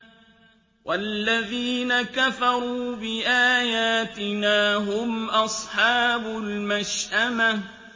وَالَّذِينَ كَفَرُوا بِآيَاتِنَا هُمْ أَصْحَابُ الْمَشْأَمَةِ